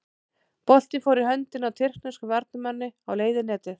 Boltinn fór í höndina á tyrkneskum varnarmanni á leið í netið.